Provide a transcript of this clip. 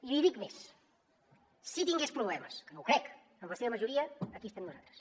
i li dic més si tingués problemes que no ho crec amb la seva majoria aquí estem nosaltres